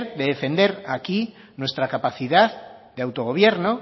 de defender aquí nuestra capacidad de autogobierno